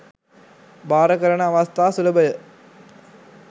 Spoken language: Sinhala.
භාර කරන අවස්ථා සුලභය.